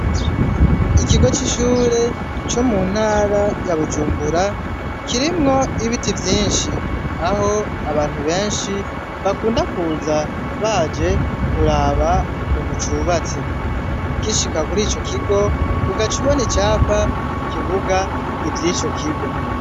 Ikigo c'ishure co mu ntara yabujumbura kirimwo ibiti vyinshi aho abantu benshi bakunda kuza baje kuraba ukuntu cubatse kishika kuri ico kigo ugacubona icapa kivuga ivyo ico kigo.